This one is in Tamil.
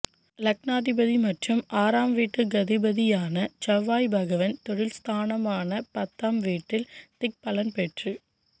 லக்னாதிபதி மற்றும் ஆறாம் வீட்டுக்கதிபதியான செவ்வாய்பகவான் தொழில் ஸ்தானமான பத்தாம் வீட்டில் திக்பலம் பெற்று